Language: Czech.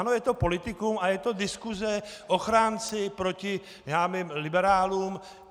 Ano, je to politikum a je to diskuse - ochránci proti liberálům.